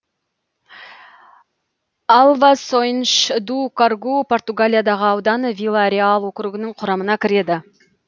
алвасойнш ду коргу португалиядағы аудан вила реал округінің құрамына кіреді